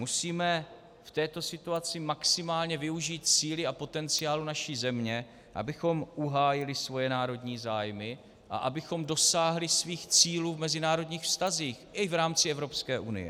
Musíme v této situaci maximálně využít síly a potenciálu naší země, abychom uhájili svoje národní zájmy a abychom dosáhli svých cílů v mezinárodních vztazích i v rámci Evropské unie.